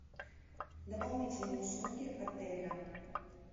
дополнительные услуги отеля